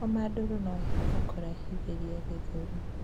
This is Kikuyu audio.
Homa nduru noĩhote kurehithirĩa gĩthũri